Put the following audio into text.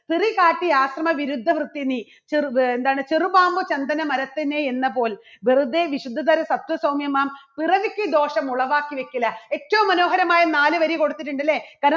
ഒരു കാട്ടി ആക്രമ വിരുദ്ധ വൃത്തിനി ചെറു വേ എന്താണ് ചെറുപാമ്പ് സന്തന മരത്തിന്മേൽ എന്നപോൽ വെറുതെ വിശുദ്ധധര സത്യ സൗമ്യമാം പുറവിക്ക് ദോഷം ഉളവാക്കി വെക്കില്ല ഏറ്റവും മനോഹരമായ നാലുവരി കൊടുത്തിട്ടുണ്ട് അല്ലേ? കാരണം